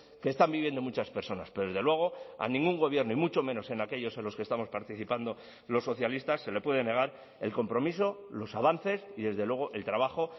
que están viviendo muchas personas pero desde luego a ningún gobierno y mucho menos en aquellos en los que estamos participando los socialistas se le puede negar el compromiso los avances y desde luego el trabajo